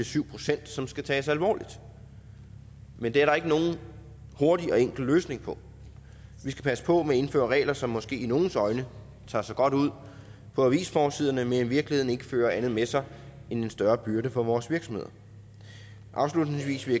syv pct som skal tages alvorligt men det er der ikke nogen hurtig og enkel løsning på vi skal passe på med at indføre regler som måske i nogles øjne tager sig godt ud på avisforsiderne men i virkeligheden ikke fører andet med sig end en større byrde for vores virksomheder afslutningsvis vil